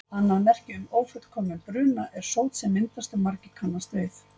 Annað merki um ófullkominn bruna er sót sem myndast og margir kannast við.